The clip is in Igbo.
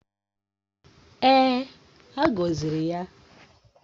Èè, a gọziri ya.